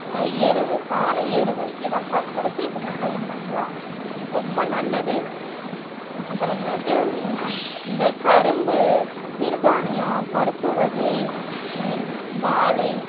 ஆஹ் எருவு சாண எருவு இத பயன்படுத்தி விவசாயம் பண்ணலாம் ரொம்ப நல்லது அப்புறமேட்டு அஹ் இந்த கரும்பு, சிறுதானியம், பருப்பு வகை அஹ் வாழை